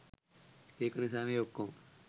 ඒක නිසා මේ ඔක්කොම